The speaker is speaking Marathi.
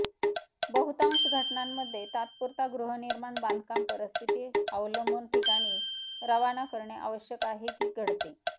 बहुतांश घटनांमध्ये तात्पुरता गृहनिर्माण बांधकाम परिस्थिती अवलंबून ठिकाणी रवाना करणे आवश्यक आहे की घडते